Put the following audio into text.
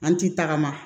An ti tagama